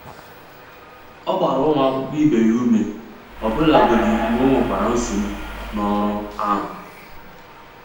Ọ gbara ụmụ akwụkwọ ibe ya ume, ọbụlagodi mgbe o nwekwara nsogbu n'ọrụ ahụ.